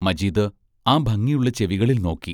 മജീദ് ആ ഭംഗിയുള്ള ചെവികളിൽ നോക്കി.